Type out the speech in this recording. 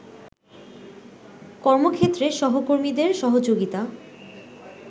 কর্মক্ষেত্রে সহকর্মীদের সহযোগিতা